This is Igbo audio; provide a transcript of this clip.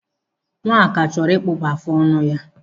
Nwaka chọrọ ịkpụpụ afụ ọnụ ya.